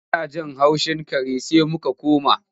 Muna jin haushin kare sai muka koma.